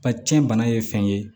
A cɛn bana ye fɛn ye